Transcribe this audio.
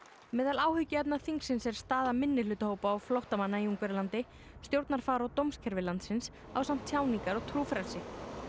meðal áhyggjuefna þingsins er staða minnihlutahópa og flóttamanna í Ungverjalandi stjórnarfar og dómskerfi landsins ásamt tjáningar og trúfrelsi